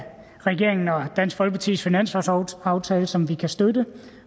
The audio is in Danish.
regeringen og dansk folkepartis finanslovsaftale som vi kan støtte